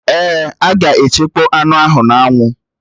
Èè, a ga-echekpọ anụ ahụ n'anwụ